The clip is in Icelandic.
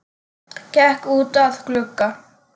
Gekk út að glugga.